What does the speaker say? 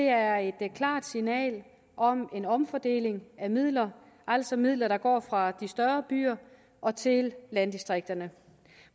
er et klart signal om en omfordeling af midler altså midler der går fra de større byer og til landdistrikterne